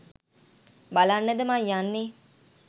බලන්නද බං යන්නෙ?